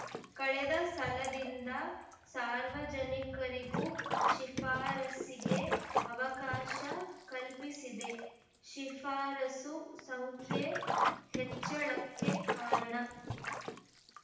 ಕಳೆದ ಸಲದಿಂದ ಸಾರ್ವಜನಿಕರಿಗೂ ಶಿಫಾರಸ್ಸಿಗೆ ಅವಕಾಶ ಕಲ್ಪಿಸಿದೆ ಶಿಫಾರಸು ಸಂಖ್ಯೆ ಹೆಚ್ಚಳಕ್ಕೆ ಕಾರಣ